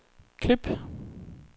klip